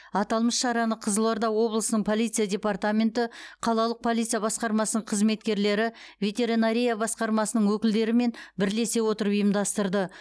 аталмыш шараны қызылорда облысының полиция департаменті қалалық полиция басқармасының қызметкерлері ветеринария басқармасының өкілдерімен бірлесе отырып ұйымдастырды